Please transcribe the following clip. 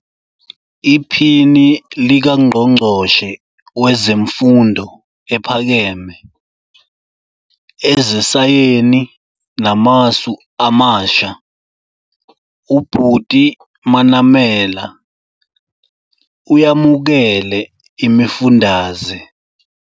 IPhini likaNgqongqoshe Wezemfundo Ephakeme, Ezesayeni Namasu Amasha, uButi Manamela, uyamukele imifundaze.